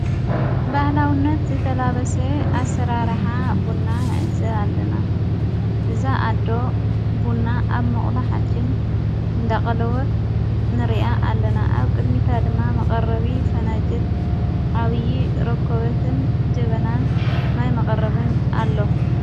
ባህላውነት ዘተላበሰ ኣሠራራሓ ቡና ነእዘ ኣለና እዛ ኣዶ ቡና ኣብ መቕላ ሓጭን እንዳቐለወት ንርያ ኣለና ኣብ ቅድሚታ ድማ መቐረቢ ፈነጅል ዓብዪ ረኮበትን ድበናን ማይ መቐረብን ኣለዉ